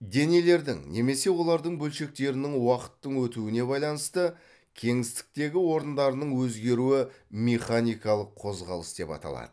денелердің немесе олардың бөлшектерінің уақыттың өтуіне байланысты кеңістіктегі орындарының өзгеруі механикалық қозғалыс деп аталады